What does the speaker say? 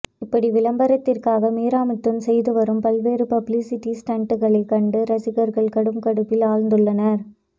இப்படி விளம்பரத்திற்காக மீராமிதுன் செய்து வரும் பல்வேறு பப்ளிசிட்டி ஸ்டன்ட்களை கண்டு ரசிகர்கள் கடும் கடுப்பில் ஆழ்ந்துள்ளனர்